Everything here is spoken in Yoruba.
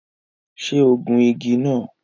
Ṣé ó gun igi náà?